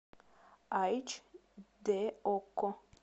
айч д окко